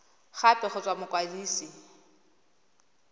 gape go tswa go mokwadise